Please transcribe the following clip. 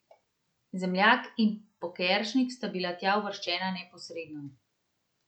Zemljak in Pokeršnik sta bila tja uvrščena neposredno.